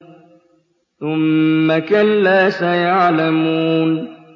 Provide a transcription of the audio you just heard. ثُمَّ كَلَّا سَيَعْلَمُونَ